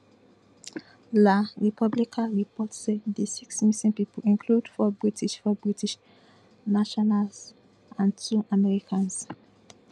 la repubblica report say di six missing pipo include four british four british nationals and two americans